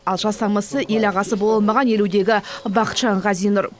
ал жасамысы ел ағасы бола алмаған елудегі бақытжанов ғазинұр